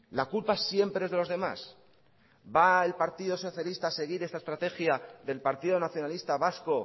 la culpa siempre es de los demás va el partido socialista a seguir esta estrategia del partido nacionalista vasco